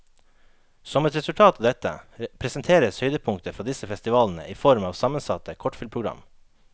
Som et resultat av dette, presenteres høydepunkter fra disse festivalene i form av sammensatte kortfilmprogram.